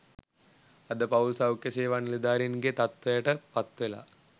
අද පවුල් සෞඛ්‍ය සේවා නිලධාරීන්ගේ තත්ත්වයට පත් වෙලා.